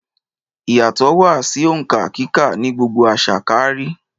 Ìyàtọ̀ wà sí òǹkà kíkà ní gbogbo àṣà káárí